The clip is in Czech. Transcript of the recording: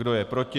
Kdo je proti?